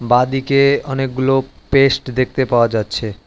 বাঁদিকে অনেকগুলো পেস্ট দেখতে পাওয়া যাচ্ছে।